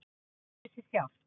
hvorugt ræður sér sjálft